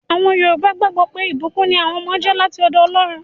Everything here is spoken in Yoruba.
Àwọn yọrùbá gbàgbọ́ pé, ìbùkún ní àwọn ọmọ jẹ́ láti ọ̀dọ̀ Ọlọ́run